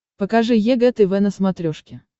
покажи егэ тв на смотрешке